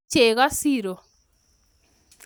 iib cheko siiro